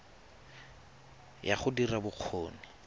ya go dira ya bokgoni